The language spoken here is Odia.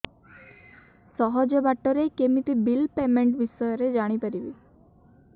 ସହଜ ବାଟ ରେ କେମିତି ବିଲ୍ ପେମେଣ୍ଟ ବିଷୟ ରେ ଜାଣି ପାରିବି